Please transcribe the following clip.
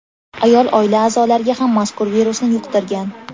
Ayol oila a’zolariga ham mazkur virusni yuqtirgan.